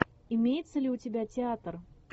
имеется ли у тебя театр